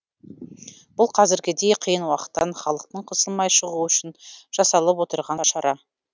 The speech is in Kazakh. бұл қазіргідей қиын уақыттан халықтың қысылмай шығуы үшін жасалып отырған шара